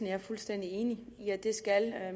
jeg er fuldstændig enig i at det skal